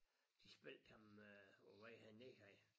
De spillede ham øh på vej herned her